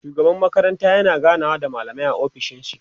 shugaban makaranta yana ganawa da mallamai a ofishin shi